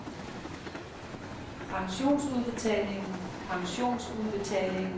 pensionsudbetalingen pensionsudbetalingen pensionsudbetalingen